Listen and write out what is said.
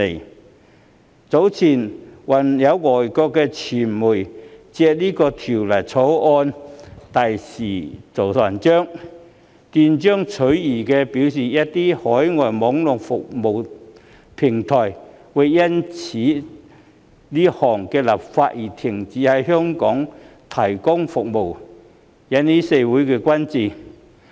較早前，有外國傳媒更借《條例草案》大做文章，斷章取義地表示，一些海外網絡服務平台會因這項立法修訂而停止在港提供服務，這令社會各界甚為關注。